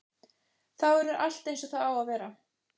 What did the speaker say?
Þá verður allt eins og það á að vera.